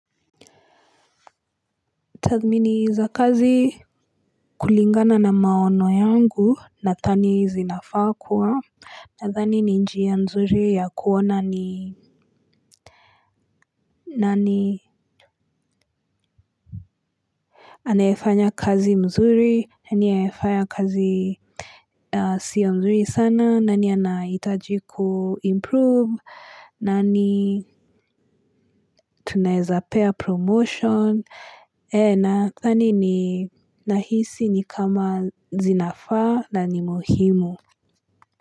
Tathmini za kazi kulingana na maoni yangu nadhani zinafaa kuwa. Nadhani ni njia nzuri ya kuona ni nani. Anayefanya kazi mzuri, nani anayefanya kazi siyo mzuri sana, nani anahitaji kuimprove, nani tunaweza pea promotion, ee nadhani ni na hisi ni kama zinafaa na ni muhimu.